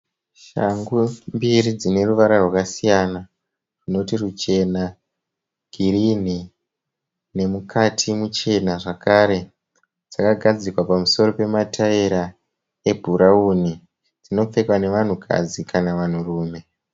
Shangu mbiri dzine ruvara rwakasiyana runoti ruchena ,girinhi nemukati muchena zvakare. Dzakagadzikwa pamusoro pemataera eburauni. Dzinopfekwa nevanhukadzi kana vanhurume.